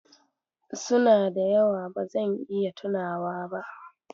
Suna da yawa, ba zan iya tunawa ba.